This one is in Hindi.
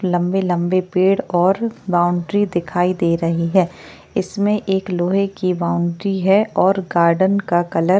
लंबे लंबे पेड़ और बाउंड्री दिखाई दे रही है इसमें एक लोहे की बाउंड्री है और गार्डन का कलर --